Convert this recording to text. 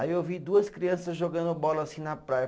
Aí eu vi duas criança jogando bola assim na praia.